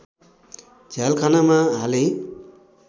झ्यालखानामा हाले